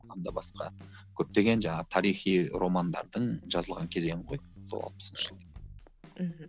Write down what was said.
одан да басқа көптеген жаңағы тарихи романдардың жазылған кезеңі ғой сол алпысыншы жыл мхм